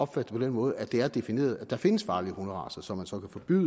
på den måde at det er defineret at der findes farlige hunderacer som man så kan forbyde